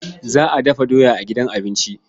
Za a dafa doya a gidan abinci.